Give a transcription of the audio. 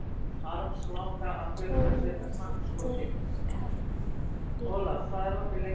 Tólfti kafli